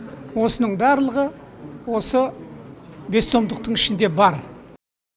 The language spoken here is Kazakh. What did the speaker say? осының барлығы осы бес томдықтың ішінде бар